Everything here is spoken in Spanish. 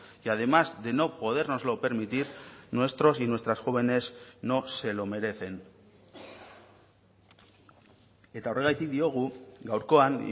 y además de no podérnoslo permitir nuestros y nuestras jóvenes no se lo merecen eta horregatik diogu gaurkoan